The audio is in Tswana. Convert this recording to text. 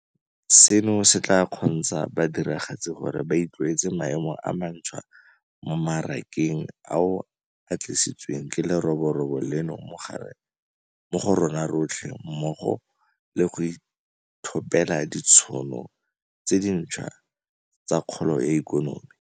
Seno se tla kgontsha badiragatsi gore ba itlwaetse maemo a mantšhwa mo marakeng ao a tlisitsweng ke leroborobo leno mo go rona rotlhe mmogo le go ithopela ditšhono tse dintšhwa tsa kgolo ya ikonomi.